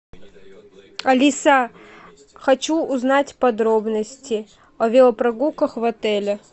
алиса хочу узнать подробности о велопрогулках в отеле